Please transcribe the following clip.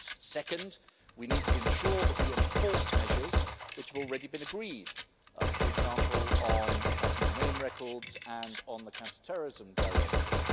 Second, we need to ensure that we enforce measures which have already been agreed, for example on passenger name records and on the Counter Terrorism Directive.